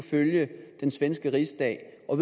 følge den svenske rigsdag er